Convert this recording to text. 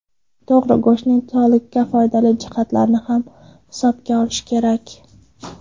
To‘g‘ri, go‘shtning sog‘liqqa foydali jihatlarini ham hisobga olish kerak.